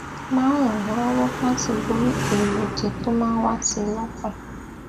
máa ń ràn án lówó láti borí èrò òdì tó máa ń wá sí i lókàn